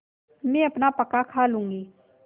मैं अपना पकाखा लूँगी